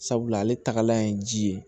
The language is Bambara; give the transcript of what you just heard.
Sabula ale tagalan ye ji ye